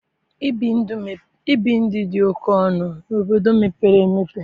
Ibi ndụ dị oke ọnụ n'obodo mepere emepe.